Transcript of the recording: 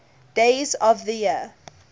days of the year